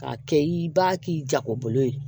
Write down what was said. K'a kɛ i b'a k'i jagolo ye